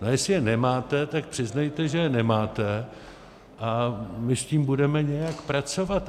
A jestli je nemáte, tak přiznejte, že je nemáte, a my s tím budeme nějak pracovat.